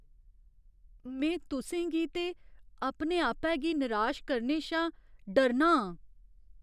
में तुसें गी ते अपने आपै गी निराश करने शा डरना आं।